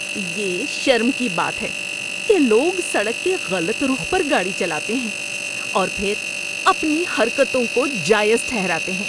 یہ شرم کی بات ہے کہ لوگ سڑک کے غلط رخ پر گاڑی چلاتے ہیں اور پھر اپنی حرکتوں کو جائز ٹھہراتے ہیں۔